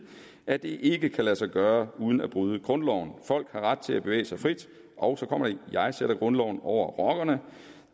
at det ikke kan lade sig gøre uden at bryde grundloven folk har ret til at bevæge sig frit og jeg sætter grundloven over rockerne